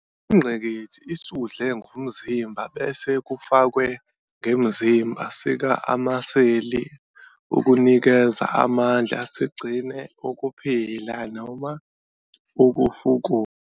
Ingqikithi isudle ngumzimba bese kufakwe ngemzimba sika amaseli ukunikeza amandla, sigcine ukuphila, noma ukufukula.